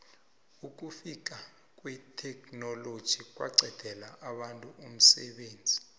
ukufika kwetheknoloji kwaqedela abantu umsebenzi